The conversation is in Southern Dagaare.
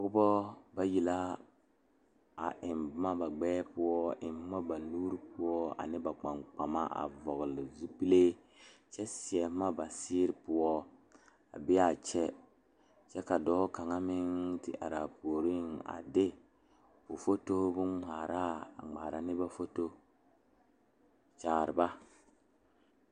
Dɔɔba mine la are ka bamine su kpare wogre ka bamine su kpare ziiri ka bamine su kpare sɔglɔ ka bamine seɛ kuri wogre ka ba de sabulɔ a tuŋ eŋ tene zie poɔ.